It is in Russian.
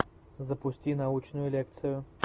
запусти научную лекцию